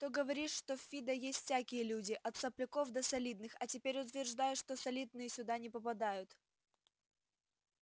то говоришь что в фидо есть всякие люди от сопляков до солидных а теперь утверждаешь что солидные сюда не попадают